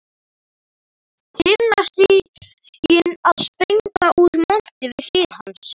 Himnastiginn að springa úr monti við hlið hans.